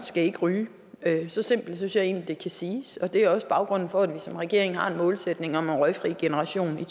skal ikke ryge så simpelt synes jeg egentlig det kan siges det er også baggrunden for at vi som regering har en målsætning om en røgfri generation i